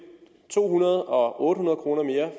to hundrede kroner og otte hundrede kroner mere